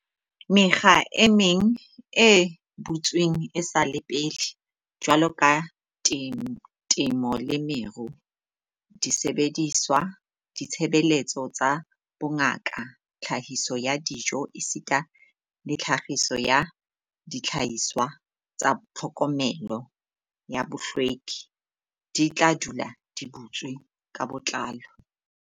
"Mekga e meng e butsweng esale pele, jwaloka temo le meru, disebediswa, ditshebeletso tsa bongaka, tlhahiso ya dijo esita le tlhahiso ya dihlahiswa tsa tlhokomelo ya bohlweki, di tla dula di butswe ka botlalo."